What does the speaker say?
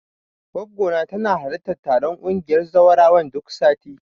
Goggona tana halartar taron ƙungiyar zawarawan duk sati.